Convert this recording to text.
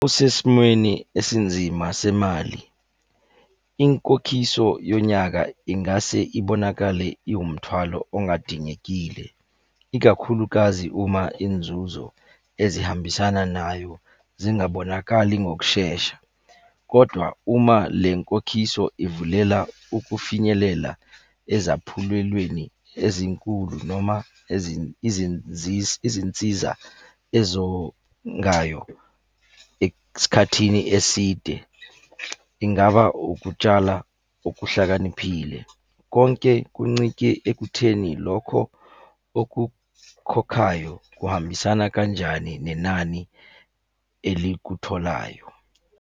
Usesimweni esinzima semali. Inkokhiso yonyaka ingase ibonakale iwumthwalo ongadingekile. Ikakhulukazi uma inzuzo ezihambisana nayo zingabonakali ngokushesha, kodwa uma le nkokhiso ivulela ukufinyelela ezaphulelweni ezinkulu noma izinsiza ezongayo. Esikhathini eside ingaba ukutshala okuhlakaniphile. Konke kuncike ekutheni lokho okukhokhayo kuhambisana kanjani nenani elikutholayo.